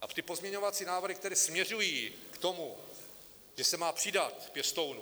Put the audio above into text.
A ty pozměňovací návrhy, které směřují k tomu, že se má přidat pěstounům...